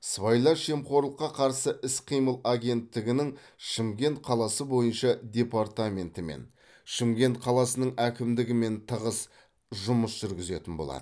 сыбайлас жемқорлыққа қарсы іс қимыл агенттігінің шымкент қаласы бойынша департаментімен шымкент қаласының әкімдігімен тығыз жұмыс жүргізетін болады